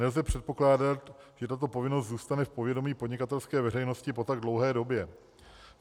Nelze předpokládat, že tato povinnost zůstane v povědomí podnikatelské veřejnosti po tak dlouhé době.